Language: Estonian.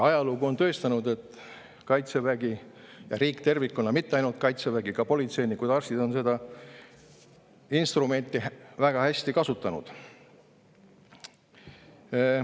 Ajalugu on tõestanud, et Kaitsevägi, aga mitte ainult Kaitsevägi, vaid ka politseinikud, arstid ja riik tervikuna on seda instrumenti väga hästi kasutanud.